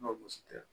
N'o gosi tɛ